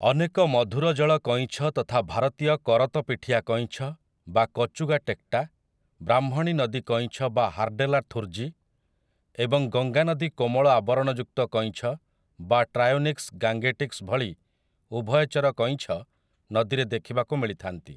ଅନେକ ମଧୁରଜଳ କଇଁଛ ତଥା ଭାରତୀୟ କରତ ପିଠିଆ କଇଁଛ ବା କଚୁଗା ଟେକ୍ଟା, ବ୍ରାହ୍ମଣୀ ନଦୀ କଇଁଛ ବା ହାର୍ଡେଲା ଥୁର୍ଜୀ, ଏବଂ ଗଙ୍ଗାନଦୀ କୋମଳ ଆବରଣଯୁକ୍ତ କଇଁଛ ବା ଟ୍ରାୟୋନିକ୍ସ ଗାଙ୍ଗେଟିକସ୍ ଭଳି ଉଭୟଚର କଇଁଛ ନଦୀରେ ଦେଖିବାକୁ ମିଳିଥାନ୍ତି ।